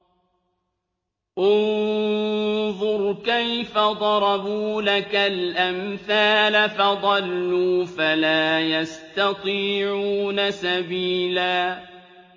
انظُرْ كَيْفَ ضَرَبُوا لَكَ الْأَمْثَالَ فَضَلُّوا فَلَا يَسْتَطِيعُونَ سَبِيلًا